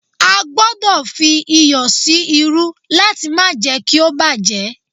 A gbọdọ̀ fí iyọ̀ sí irú láti má jé kí ó bá jẹ́.